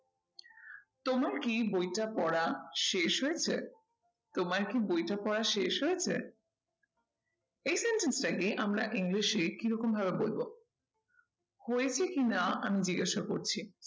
তোমার কি বইটা পড়া শেষ হয়েছে? তোমার কি বইটা পড়া শেষ হয়েছে? এই sentence টাকে আমরা english এ কি রকম ভাবে বলবো? হয়েছে কি না আমি জিজ্ঞাসা করছি